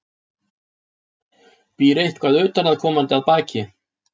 Býr eitthvað utanaðkomandi að baki?